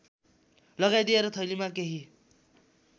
लगाइदिएर थैलीमा केही